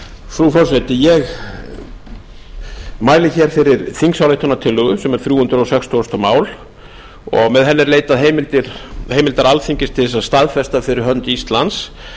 frú forseti ég mæli hér fyrir þingsályktunartillögu sem er þrjú hundruð sextugasta mál með henni er leitað heimildar alþingis til þess að staðfesta fyrir hönd íslands